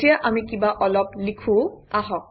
এতিয়া আমি কিবা অলপ লিখোঁ আহক